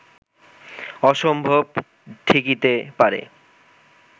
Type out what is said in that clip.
অসম্ভব ঠেকিতে পারে